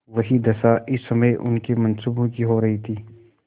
वही दशा इस समय उनके मनसूबों की हो रही थी